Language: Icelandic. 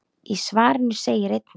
Í svarinu segir einnig